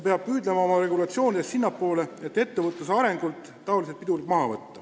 Oma regulatsioonides tuleb püüelda sinnapoole, et ettevõtluse arengult saaks säärased pidurid maha võetud.